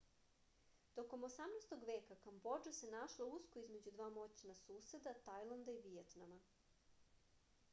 tokom 18. veka kambodža se našla usko između dva moćna suseda tajlanda i vijetnama